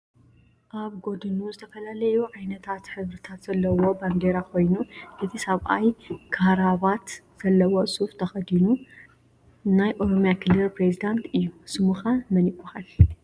ኣብ ጎድኑ ዝተፈላለዩ ዓይነት ሕብርታት ዘለዎ ባንዴራ ኮይኑ እቲ ሰብኣይ ካራባት ዘለዎ ሱፍ ተከዲኑ። ናይ ኦሮምያ ክልል ፕረዚዳንት እዩ። ስሙከ መን ይባሃል?